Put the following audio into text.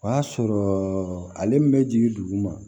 O y'a sɔrɔ ale min bɛ jigin dugu ma